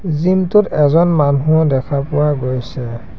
Gym টোত এজন মানুহো দেখা পোৱা গৈছে।